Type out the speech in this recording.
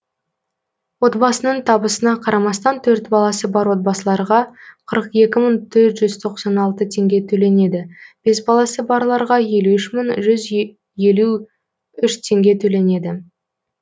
отбасының табысына қарамастан төрт баласы бар отбасыларға қырық екі мың төрт жүз тоқсан алты теңге төленеді бес баласы барларға елу үш мың жүз елу үш теңге төленеді